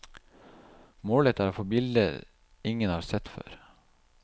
Målet er å få bilder ingen har sett før.